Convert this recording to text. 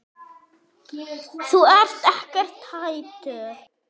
Þú ert ekkert hættur?